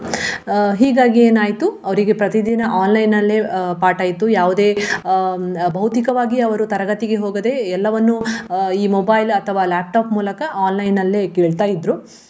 ಅಹ್ ಹೀಗಾಗಿ ಏನಾಯ್ತು ಅವರಿಗೆ ಪ್ರತಿದಿನ online ನಲ್ಲೆ ಅಹ್ ಪಾಠ ಇತ್ತು ಯಾವುದೇ ಹ್ಮ್ ಭೌತಿಕವಾಗಿ ಅವರು ತರಗತಿಗೆ ಹೋಗದೆ ಎಲ್ಲವನ್ನು ಅಹ್ ಈ mobile ಅಥವಾ laptop ಮೂಲಕ online ನಲ್ಲೆ ಕೇಳ್ತಾ ಇದ್ರು.